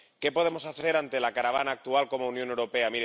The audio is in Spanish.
¿Qué podemos hacer ante la caravana actual como Unión Europea?